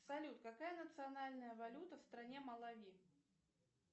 салют какая национальная валюта в стране малави